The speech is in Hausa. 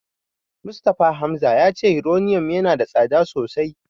Mustapha Hamza ya ce Yuraniyom yana da tsada sosai.